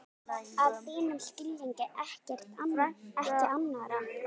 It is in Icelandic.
Að þínum skilningi, ekki annarra.